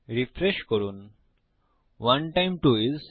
refresh করুন 1 times 2 isOh160